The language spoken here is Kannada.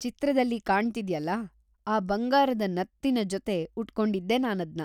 ಚಿತ್ರದಲ್ಲಿ ಕಾಣ್ತಿದ್ಯಲ್ಲ, ಆ ಬಂಗಾರದ ನತ್ತಿನ್ ಜೊತೆ ಉಟ್ಕೊಂಡಿದ್ದೆ ನಾನದ್ನ.